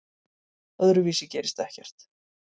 Öðruvísi gerist ekkert.